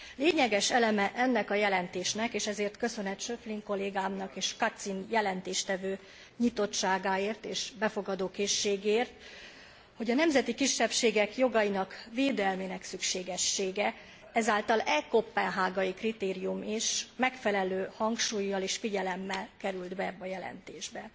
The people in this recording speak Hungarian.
Lényeges eleme ennek a jelentésnek és ezért köszönet Schöpflin kollégámnak és Kacin jelentéstevő nyitottságáért és befogadó készségéért, hogy a nemzeti kisebbségek jogai védelmének szükségessége által e koppenhágai kritérium is megfelelő hangsúllyal és figyelemmel került be ebbe a jelentésbe.